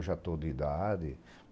Eu já estou de idade.